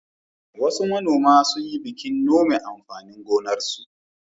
Wasu manoma sun yi bikin nome amfanin gonarsu.